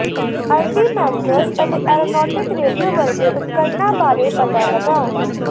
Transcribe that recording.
altimeters ਅਤੇ aeronautic radio ਵਰਗੇ ਉਪਕਰਣਾਂ ਬਾਰੇ ਪਤਾ ਲਗਾਓ